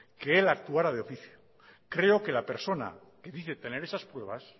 que él actuara de oficio creo que la persona que dice tener esas pruebas